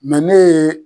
ne ye